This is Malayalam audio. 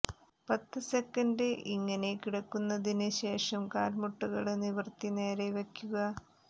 പത്ത് സെക്കന്ഡ് ഇങ്ങനെ കിടന്നതിന് ശേഷം കാല്മുട്ടുകള് നിവര്ത്തി നേരെ വയ്ക്കുക